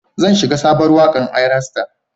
Zan shiga sabon wakar Ayra star.